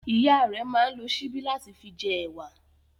Ìyá rẹ̀ máa ń lo síbí láti fi jẹ ẹ̀wà.